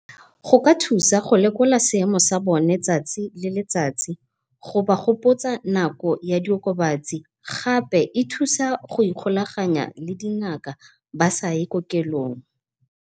Go ka thusa go lekola seemo sa bone tsatsi le letsatsi go ba gopotsa nako ya di okobatsi, gape e thusa go ikgolaganya le dingaka ba sa ye kokelong.